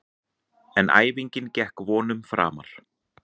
En æfingin gekk vonum framar.